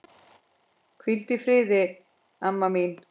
Hvíldu í friði, Anna mín.